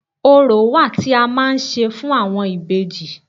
Orò wà tí a máa ń ṣe fún àwọn ìbejì